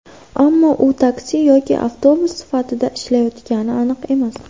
Ammo u taksi yoki avtobus sifatida ishlatilayotgani aniq emas.